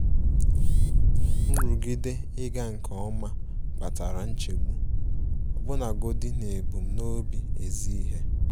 Nrụgide ịga nke ọma kpatara nchegbu, ọbụnagodi n'ebumnobi ezi ihe. um